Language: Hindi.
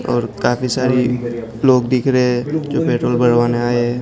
और काफी सारी लोग दिख रहे हैं जो पेट्रोल भरवाने आए हैं।